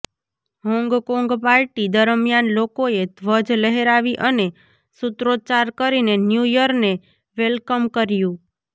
Hong Kong party દરમિયાન લોકોએ ધ્વજ લહેરાવી અને સૂત્રોચ્ચાર કરીને ન્યુ યરને વેલકમ કર્યું